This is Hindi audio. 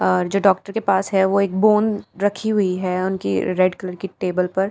आ जो डॉक्टर के पास है वो एक बूंद रखी हुई है उनकी रेड कलर की टेबल पर--